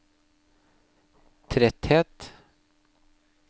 tretthet